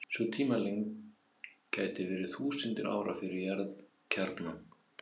Sú tímalengd gæti verið þúsundir ára fyrir jarðkjarnann.